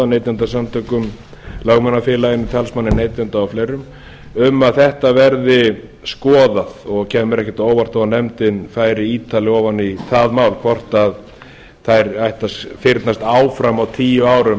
neytendasamtökum lögmannafélaginu talsmanni neytenda og fleirum um að þetta verði skoðað kemur mér það ekkert á óvart þó nefndin færi ítarlega ofan í það mál hvort þær ættu að fyrnast áfram á tíu árum